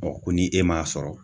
ko ni e m'a sɔrɔ